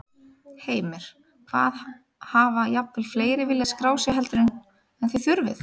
Heimir: Hvað, hafa jafnvel fleiri viljað skráð sig heldur en, en þið þurfið?